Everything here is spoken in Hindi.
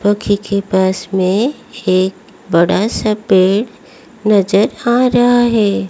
के पास मे एक बड़ा सा पेड़ नज़र आ रहा है।